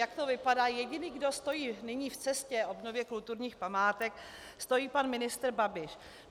Jak to vypadá, jediný, kdo stojí nyní v cestě obnově kulturních památek, je pan ministr Babiš.